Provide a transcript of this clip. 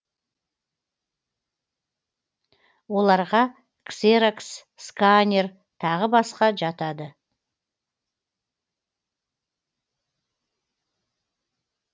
оларға ксерокс сканер тағы басқа жатады